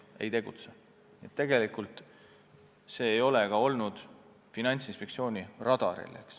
Nii et tegelikult see valdkond ei ole Finantsinspektsiooni radaril olnud.